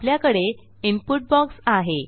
आपल्याकडे input box आहे